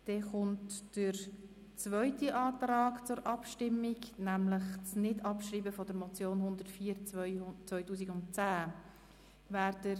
Wir stimmen über den zweiten Antrag ab, welcher die Nichtabschreibung der Motion 104-2010 fordert.